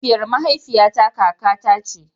Mahaifiyar mahaifiyata kakata ce.